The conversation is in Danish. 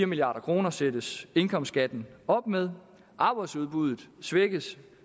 milliard kroner sættes indkomstskatten op med arbejdsudbuddet svækkes